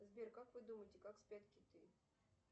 сбер как вы думаете как спят киты